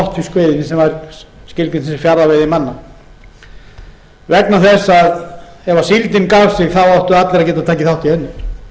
botnfiskveiðina sem var skilgreind til fjarðaveiðimanna vegna þess að ef síldin gaf sig áttu allir að geta tekið þátt